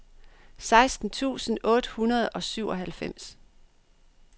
seksten tusind otte hundrede og syvoghalvfems